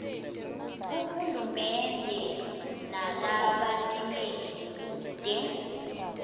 kuhulumende nalabatimele kute